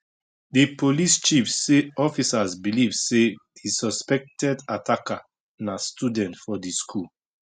di police chief say officers believe say di suspected attacker na student for di school